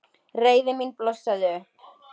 Reiði mín blossaði upp.